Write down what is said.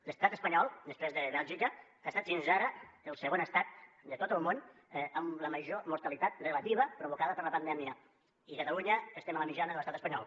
l’estat espanyol després de bèlgica ha estat fins ara el segon estat de tot el món amb la major mortalitat relativa provocada per la pandèmia i a catalunya estem a la mitjana de l’estat espanyol